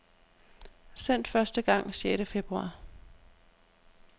Sendt første gang sjette februar.